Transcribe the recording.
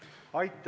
Aitäh!